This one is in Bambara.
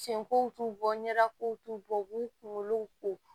Sen kow t'u bɔ ɲɛda kow t'u bɔ u b'u kunkolo ko